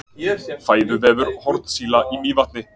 Fæðuvefur hornsíla í Mývatni.